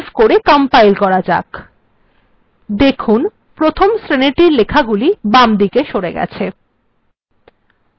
save করে compile করা যাক এখন এই শ্রেনীর লেখাগুলি শ্রেনীর বামদিকে সরে এসেছে